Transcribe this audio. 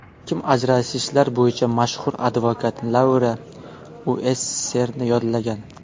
Kim ajrashishlar bo‘yicha mashhur advokat Laura Uesserni yollagan.